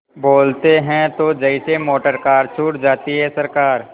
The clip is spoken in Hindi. बोलते हैं तो जैसे मोटरकार छूट जाती है सरकार